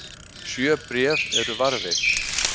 sjö bréf eru varðveitt